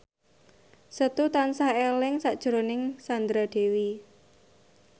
Setu tansah eling sakjroning Sandra Dewi